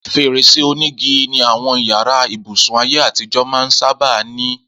Fèrèsé onígi ni àwọn yàrá ibùsùn ayé àtijọ́ máa ń sábà ní